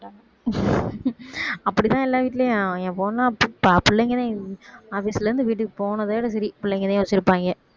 அப்படிதான் எல்லா வீட்டிலயும் என் பொண்ணு பிள்ளைங்கதான் office ல இருந்து வீட்டுக்கு போனதோட சரி பிள்ளைங்கதான் வச்சுருப்பாங்க